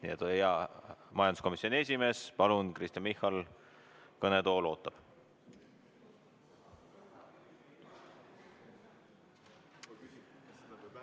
Nii et hea majanduskomisjoni esimees Kristen Michal, palun, kõnetool ootab!